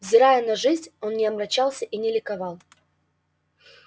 взирая на жизнь он не омрачался и не ликовал